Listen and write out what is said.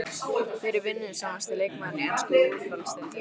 Hver er vinnusamasti leikmaðurinn í ensku úrvalsdeildinni?